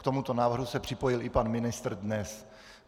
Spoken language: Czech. K tomuto návrhu se připojil i pan ministr dnes.